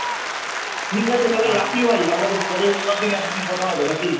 ঠিক আছে তাহলে রাখি ভাই আবার পরে অন্যদিন একদিন কথা হবে নাকি?